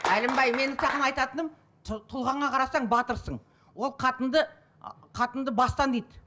әлімбай менің саған айтатыным тұлғаңа қарасаң батырсың ол қатынды қатынды бастан дейді